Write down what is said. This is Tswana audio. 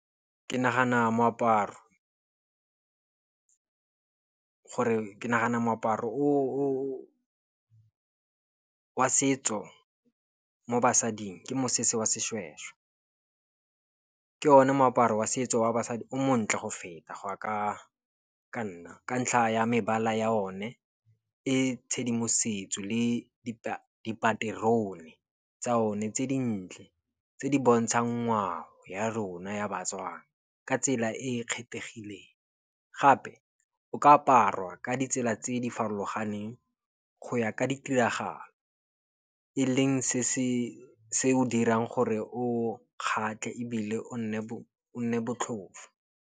Ke nagana moaparo wa setso mo basading ke mosese wa seshweshwe. Ke o ne moaparo wa setso wa basadi o montle go feta go ya ka nna ka ntlha ya mebala ya o ne e tshedimosetso le dipaterone tsa o ne tse dintle, tse di bontšang ngwao ya rona ya baTswana ka tsela e kgethegileng. Gape o ka aparwa ka ditsela tse di farologaneng go ya ka ditiragalo, eleng se se dirang gore o kgatlhe ebile o nne botlhofo.